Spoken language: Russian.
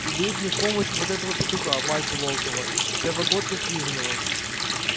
и дают мне в помощь вот этого петуха васю волкова первогодка стриженого